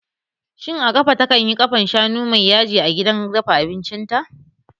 Shin Amaka takanyi ƙafan shanu mai yaji a gidan dafa abincin ta?